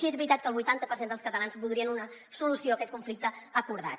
sí que és veritat que el vuitanta per cent dels catalans voldrien una solució a aquest conflicte acordada